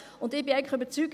Ich bin überzeugt: